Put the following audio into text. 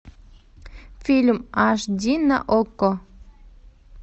фильм аш ди на окко